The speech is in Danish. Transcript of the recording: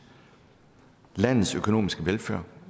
landets økonomiske velfærd